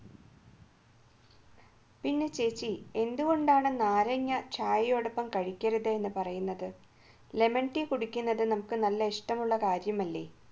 പിന്നെ ചേച്ചി എന്തുകൊണ്ടാണ് നാരങ്ങ ചായയോടൊപ്പം കഴിക്കരുത് എന്ന് പറയുന്നത് lemon tea കുടിക്കുന്നത് നമുക്ക് നല്ല ഇഷ്ടമുള്ള കാര്യമല്ലേ